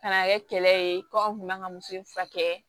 Ka na kɛ kɛlɛ ye kɔ kun ka kan ka muso in furakɛ